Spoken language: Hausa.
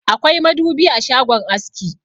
Akwai madubi a shagon aski.